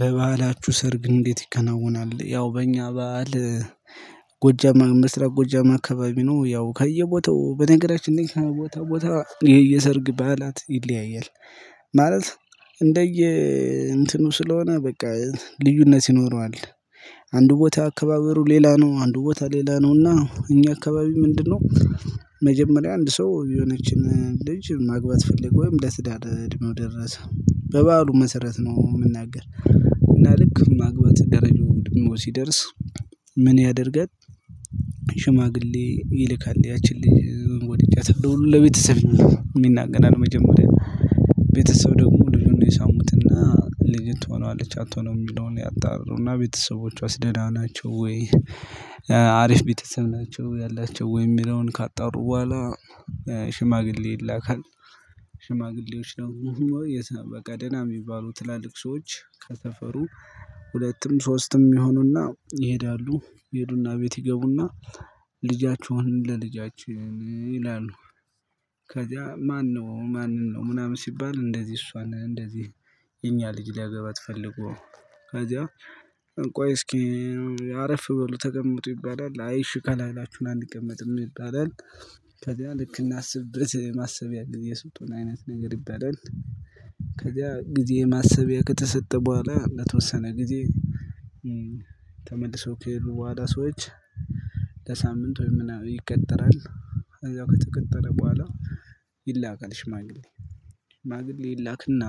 በባህላችሁ ሰርግ እንዴት ይከናወናል? ያው በእኛ ባህል ጎጃም ምስራቅ ጎጃም አካባቢ ነው። ያው ከየቦታው በነገራችን ላይ ቦታ ቦታ ይሄ የሰርግ በዓላት ይለያያል። ማለት እንደየ እንትኑ ስለሆነ በቃ ልዩነት ይኖረዋል። አንድ ቦታ አካባበሩ ሌላ ነው አንድ ቦታ ሌላ ነውና እኛ አካባቢ ምንድነው? መጀመሪያ አንድ ሰው የሆነችን ልጅ ማግባት ፈልጎ ወይም ለትዳር እድሜው ደረሰው በባህሉ መሰረት ነው የምናገር። እና ልክ ማግባት ደረጃው ደግሞ ሲደርስ ምን ያደርል? ሽማግሌ ይልካል ያቺን ልጅ ወድጃታለሁ ለቤተሰብ ይናገራል። መጀመሪያ ቤተሰብ ደግሞ ልጁን ይሰሙትና ልጅት ትሆነዋለች አትሆነውም የሚለውን ያጣሩና ቤተሰቦቿስ ደህና ናቸው ወይ? አሪፍ ቤተሰብ ናቸው ያላቸው ወይ የሚለውን ካጣሩ በኋላ ሽማግሌ ይላካል። ሽማግሌዎች ደግሞ በቃ ደህና የሚባሉ ትላልቅ ሰዎች ከሰፈሩ ሁለቱም ሶስቱም ይሆኑና ይሄዳሉ ይሄዱና ቤት ይገቡና። ልጃችሁን ለልጃችን ይላሉ። ከዛ ማነው ማንን ነው ምናምን ሲባል እንደዚህ እሷን እንደዚህ የኛ ልጅ ሊያገባት ፈልጎ። ከዛ ቆይ እስኪ አረፍ በሉ ተቀመጡ ይባላል አይ እሺ ካላላችሁን አንቀመጥም ይባላል። ከዛ ልክ እናስብበት የማሰቢያ ጊዜ ስጡን አይነት ነገር ይባላል። ከዚያ ጊዜ ማሰቢያ ከተሰጠ በኋላ ለተወሰነ ጊዜ ተመልሰው ከሄዱ በኋላ ሰዎች። ለሳምንት ወይም ምናምን ይቀጥራል። ከተቀጠረ በኋላ ይላካል ሽማግሌ ሽማግሌ ይላክና።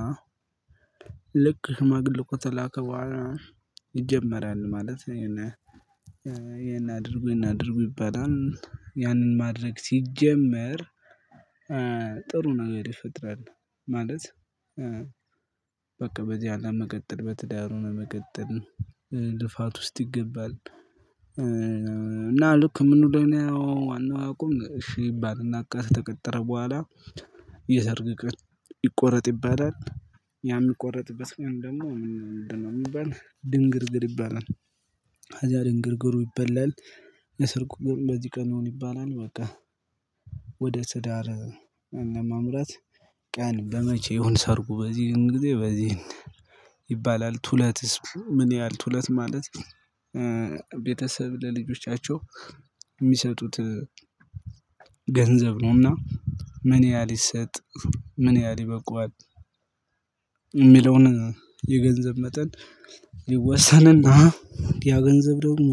ልክ ሽማግው ከተላከ በኋላ ይጀመራል ማለት የሆነ። ይሄን አድርጉ ይሄን አድርጉ ይባላል። ያንን ማድረግ ሲጀመር ጥሩ ነገር ይፈጠራል። ማለት በቃ በዚህ አለም መቀጠል በትዳር ሁኖ መቀጠል ልፋት ውስጥ ይገባል። እና ልክ ምን ደህና ያው ዋናው አቋም እሺ ይባልና ቀን ከተቀጠረ በኋላ የሰርግ ቀን ይቆረጥ ይባላል። ያ ሚቆረጥበት ቀን ደግሞ ምን ነው የሚባል ድንግርግር ይባላል። እዚያ ድንግርግሩ ይበላል። የሰርጉ ቀን በዚህ ቀን ይሁን ይባላል በቃ። ወደ ትዳር ለማምራት ቀን በመቼ ይሁን ሰርጉ በዚህን ጊዜ በዚህ ይባላል ቱለትስ ምን ያህል ቱለት ማለት? ቤተሰብ ለልጆቻቸው የሚሰጡት ገንዘብ ነውና። ምን ያህል ይሰጥ? ምን ያህል ይበቃዋል? የሚለውን የገንዘብ መጠን። ይወሰንና ያ ገንዘብ ደግሞ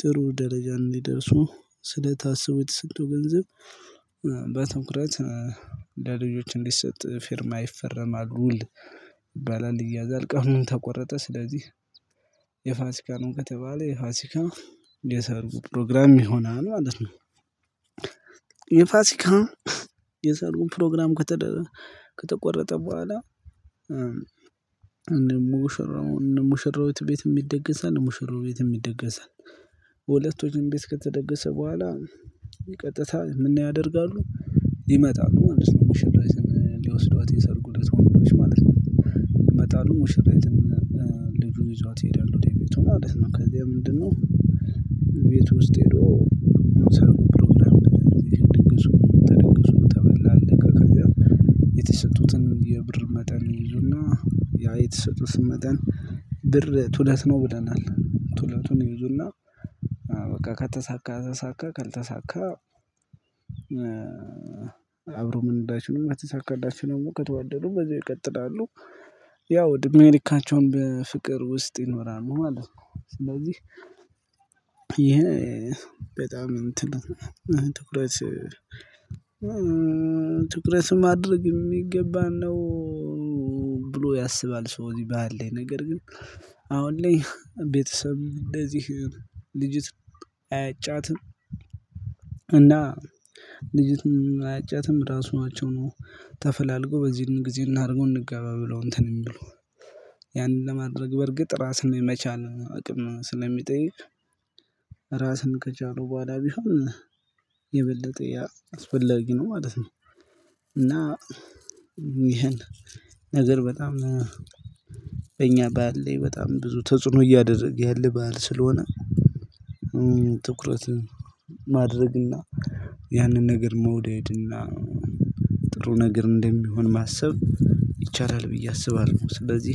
ጥሩ ደረጃ እንዲደርሱ ስለታሰቡ የተሰጠ ገንዘብ። በትኩረት ለልጆች እንዲሰጥ ፊርማ ይፈረማል ውል። ይባላል ይያዛል ቀኑም ተቆረጠ ስለዚህ የፋሲካ ነው ከተባለ የፋሲካ የሰርጉ ፕሮግራም ይሆናል ማለት ነው። የሰርጉ ፕሮግራም ከተቆረጠ በኋላ እነ ሙሽራው እነ ሙሽራዊት ቤትም ይደገሳል እነ ሙሽራው ቤትም ይደገሳል። ሁለቱም ቤት ከተደገሰ በኋላ ቀጥታ ምን ያደርጋሉ? ይመጣሉ ሊወስዷት ሙሽራይትን ሊወስዷት የሰርጉ ለት ወንዶች ማለት ነው። ይመጣሉ ሙሽሪትን ልጁ ይዟት ይሄዳል ወደ ቤቱ ማለት ነው። ከዛ ምንድን ነው? ውስጥ ሄዶ ሰብሮ ምናምን ድግሱ ተደግሶ ተበላ አለቀ ከዛ። የተሰጡትን የብር መጠን ይይዙና ያ የተሰጡትን መጠን ብር ቱለት ነው ብለናል ቱለቱን ይይዙና። በቃ ከተሳካ ተሳካ ካልተሳካ። አብሮ መሄድ አይችሉም ከተሳካላቸው ደግሞ ከተዋደዱ በዛው ይቀጥላሉ። ያው እድሜ ልካቸውን በፍቅር ውስጥ ይኖራሉ ማለት ነው። ስለዚህ ይሄ በጣም እንትን ትኩረት ትኩረት ማድረግ የሚገባን ነው። ብሎ ያስባል ሰው እዚህ ባህል ላይ ነገር ግን አሁን ላይ ቤተሰብ እንደዚህ ልጅት አያጫትም። እና ልጅትም አያጫትም ራሳቸው ነው። ተፈላልገው በዚህን ጊዜ እናድርገው እንገባ ብለው እንትን የሚሉ። ያንን ለማድረግ በርግጥ ራስን የመቻል አቅም ስለሚጠይቅ። ራስን ከቻሉ በኋላ ቢሆን የበለጠ ያ አስፈለጊ ነው ማለት ነው። እና ነገር በጣም በእኛ ባህል ላይ በጣም ብዙ ተጽዕኖ እያደረገ ያለ ባህል ስለሆነ። ትኩረት ማድረግና ያንን ነገር መውደድና ጥሩ ነገር እንደሚሆን ማሰብ ይቻላል ብዬ አስባለሁ። ስለዚህ